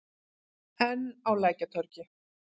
Enn á Lækjartorgi.